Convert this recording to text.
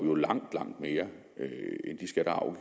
jo langt langt mere end de skatter og